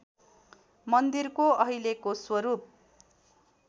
मन्दिरको अहिलेको स्वरूप